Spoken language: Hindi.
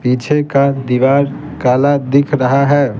पीछे का दीवार काला दिख रहा है।